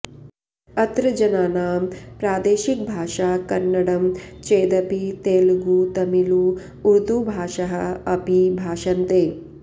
अत्र जनानां प्रादेशिकभाषा कन्नडं चेदपि तेलुगु तमिळु उर्दु भाषाः अपि भाषन्ते